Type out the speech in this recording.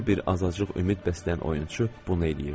Hər bir azacıq ümid bəsləyən oyunçu bunu eləyirdi.